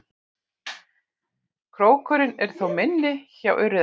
Krókurinn er þó minni hjá urriðanum.